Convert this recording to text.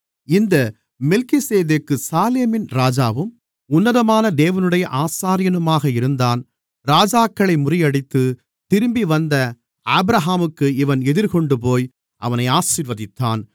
இந்த மெல்கிசேதேக்கு சாலேமின் ராஜாவும் உன்னதமான தேவனுடைய ஆசாரியனுமாக இருந்தான் ராஜாக்களை முறியடித்து திரும்பிவந்த ஆபிரகாமுக்கு இவன் எதிர்கொண்டுபோய் அவனை ஆசீர்வதித்தான்